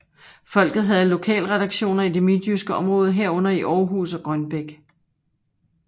Folket havde lokalredaktioner i det midtjyske område herunder i Århus og Grønbæk